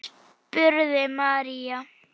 spurði María.